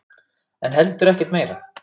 En heldur ekkert meira.